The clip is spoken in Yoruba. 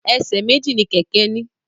Ẹsẹ̀ méjì ni kẹkẹ ni.